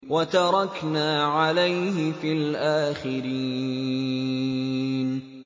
وَتَرَكْنَا عَلَيْهِ فِي الْآخِرِينَ